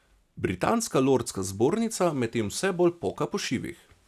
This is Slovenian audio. Britanska lordska zbornica medtem vse bolj poka po šivih.